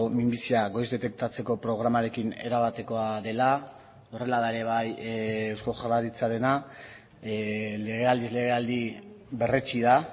minbizia goiz detektatzeko programarekin erabatekoa dela horrela da ere bai eusko jaurlaritzarena legealdiz legealdi berretsi da